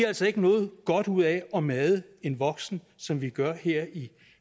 altså ikke noget godt ud af at made en voksen som vi gør her i